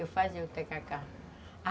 Eu fazia o tacacá.